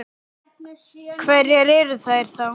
Hverjar eru þær þá?